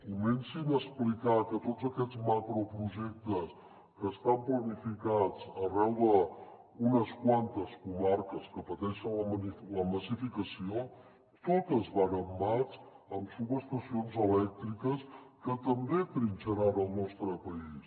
comencin a explicar que tots aquests macroprojectes que estan planificats arreu d’unes quantes comarques que pateixen la massificació totes van amb mats amb subestacions elèctriques que també trinxaran el nostre país